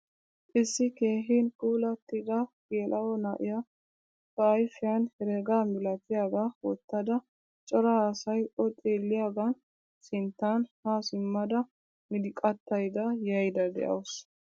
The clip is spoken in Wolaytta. Issi keehin puulatida gela'o na'iyaa ba ayfiyan herega milatiyaaga wottada cora asay oo xeeliyagan sinttan ha simmada miliqattayda yayda de'awusu.